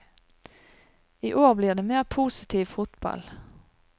I år blir det mer positiv fotball.